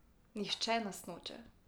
Nihče nas noče.